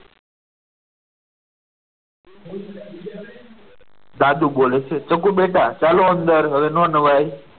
દાદુ બોલે છે ચકુ બેટા ચાલો હવે અંદર હવે ના નહાય.